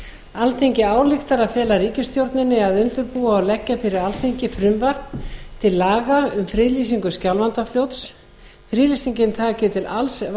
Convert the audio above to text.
alþingi ályktar að fela ríkisstjórninni að undirbúa og leggja fyrir alþingi frumvarp til laga um friðlýsingu skjálfandafljóts friðlýsingin taki til alls